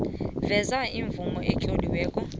veza imvumo etloliweko